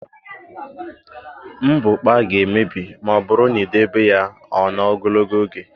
Mbukpa ga-emebi ma ọ bụrụ na i debe ya ọ nọọ ogologo oge.